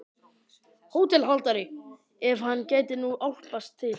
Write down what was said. HÓTELHALDARI: Ef hann gæti nú álpast til.